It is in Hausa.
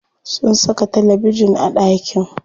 Sun saka talabejin a ɗakin.